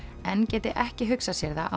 en geti ekki hugsað sér það á